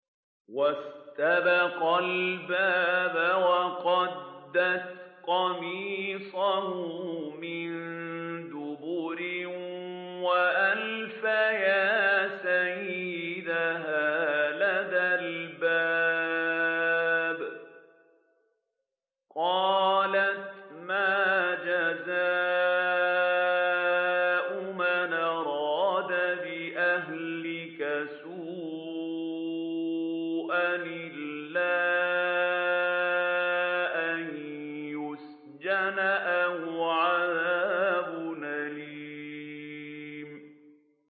وَاسْتَبَقَا الْبَابَ وَقَدَّتْ قَمِيصَهُ مِن دُبُرٍ وَأَلْفَيَا سَيِّدَهَا لَدَى الْبَابِ ۚ قَالَتْ مَا جَزَاءُ مَنْ أَرَادَ بِأَهْلِكَ سُوءًا إِلَّا أَن يُسْجَنَ أَوْ عَذَابٌ أَلِيمٌ